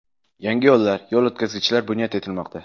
Yangi yo‘llar, yo‘l o‘tkazgichlar bunyod etilmoqda.